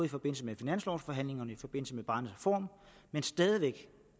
i forbindelse med finanslovforhandlingerne og i forbindelse med barnets reform men stadig væk